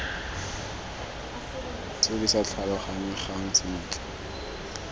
tse di sa tlhaloganyegang sentle